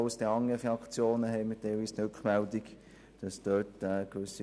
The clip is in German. Ich korrigiere meine Aussage von vorhin.